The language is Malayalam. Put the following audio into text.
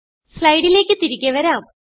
സ്ലൈഡിലേക്ക് തിരികെ വരാം